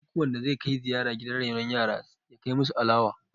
duk wanda zai Kai ziyara gidan renon yara ya kai musu alawa!